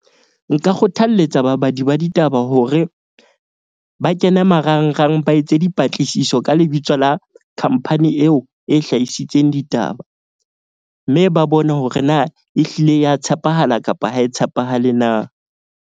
Nka kgothalletsa babadi ba ditaba hore ba kene marangrang ba etse dipatlisiso ka lebitso la khampani eo e hlahisitseng ditaba. Mme ba bone hore na e hlile ya tshepahala kapa ha e tshepahale na.